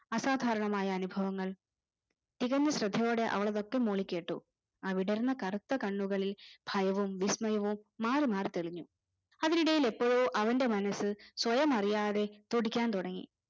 അസാധാരണമായ അനുഭവങ്ങൾ തികഞ്ഞ ശ്രദ്ധയോടെ അവൾ അതൊക്കെ മൂളിക്കേട്ടു ആ വിടർന്ന കറുത്ത കണ്ണുകളിൽ ഭയവും വിസ്മയവും മാറിമാറി തെളിഞ്ഞു അതിനിടയിലെപ്പോയൊ അവന്റെ മനസ് സ്വയം അറിയാതെ തുടിക്കാൻ തുടങ്ങി